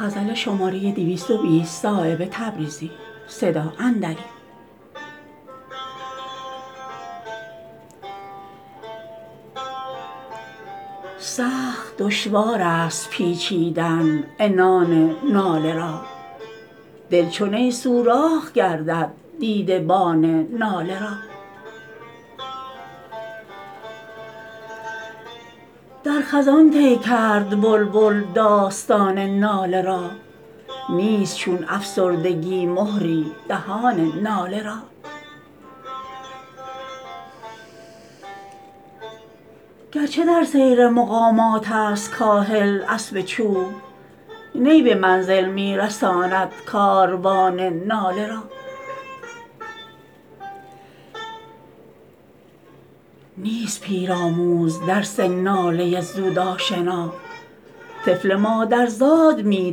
سخت دشوارست پیچیدن عنان ناله را دل چو نی سوراخ گردد دیده بان ناله را در خزان طی کرد بلبل داستان ناله را نیست چون افسردگی مهری دهان ناله را گرچه در سیر مقامات است کاهل اسب چوب نی به منزل می رساند کاروان ناله را نیست پیرآموز درس ناله زود آشنا طفل مادرزاد می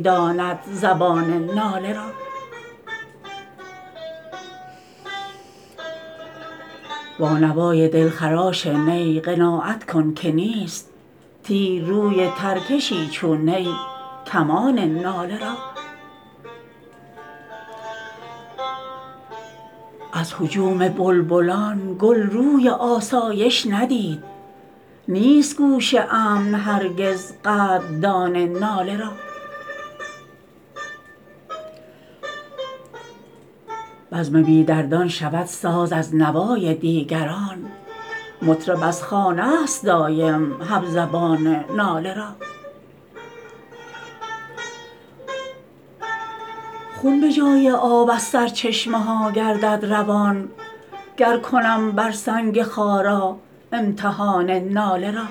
داند زبان ناله را با نوای دلخراش نی قناعت کن که نیست تیر روی ترکشی چون نی کمان ناله را از هجوم بلبلان گل روی آسایش ندید نیست گوش امن هرگز قدردان ناله را بزم بی دردان شود ساز از نوای دیگران مطرب از خانه است دایم همزبان ناله را خون به جای آب از سرچشمه ها گردد روان گر کنم بر سنگ خارا امتحان ناله را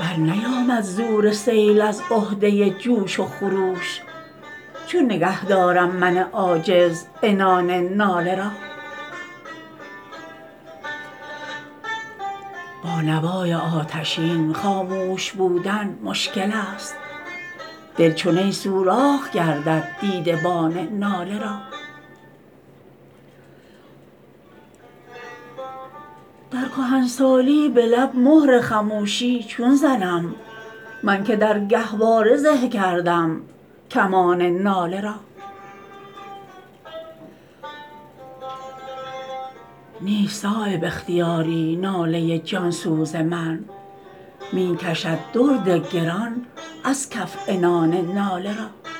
برنیامد زور سیل از عهده جوش و خروش چون نگه دارم من عاجز عنان ناله را با نوای آتشین خاموش بودن مشکل است دل چو نی سوراخ گردد دیده بان ناله را در کهنسالی به لب مهر خموشی چون زنم من که در گهواره زه کردم کمان ناله را نیست صایب اختیاری ناله جانسوز من می کشد درد گران از کف عنان ناله را